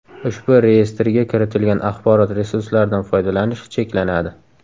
Ushbu Reyestrga kiritilgan axborot resurslaridan foydalanish cheklanadi.